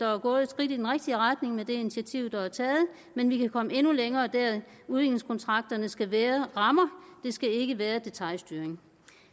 er gået et skridt i den rigtige retning med det initiativ der er taget men vi kan komme endnu længere udviklingskontrakterne skal være rammer det skal ikke være detailstyring